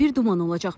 Arabir duman olacaq.